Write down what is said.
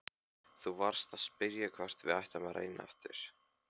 Þú varst að spyrja hvort við ættum að reyna aftur.